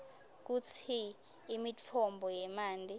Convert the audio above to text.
kutsi imitfombo yemanti